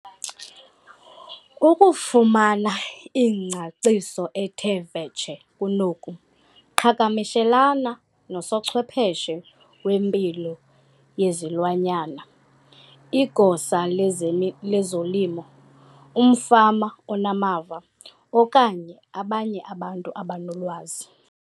Ukufumana ingcaciso ethe vetshe kunoku, qhagamshelana nosochwepheshe wempilo yezilwanyana, igosa lezolimo, umfama onamava, okanye abanye abantu abanolwazi.